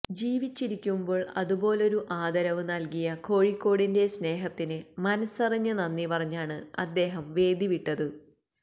ജീവിച്ചിരിക്കുമ്പോൾ അതുപോലൊരു ആദരവ് നൽകിയ കോഴിക്കോടിന്റെ സ്നേഹത്തിന് മനസ്സറിഞ്ഞ് നന്ദി പറഞ്ഞാണ് അദ്ദേഹം വേദി വിട്ടത്